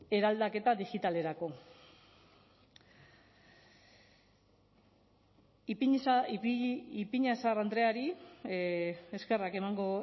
eraldaketa digitalerako ipiñazar andreari eskerrak emango